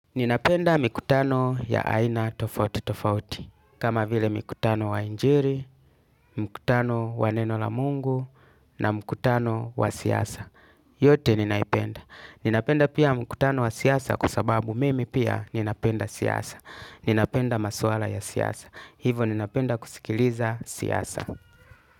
Ninapenda mikutano ya Aina Tofauti Tofauti, kama vile mikutano wa ijili, mikutano wa neno la mungu, na mikutano wa siyasa. Yote ninaipenda. Ninapenda pia mikutano wa siyasa kwa sababu mimi pia ninapenda siyasa. Ninapenda maswala ya siyasa. Hivo ninapenda kusikiliza siyasa.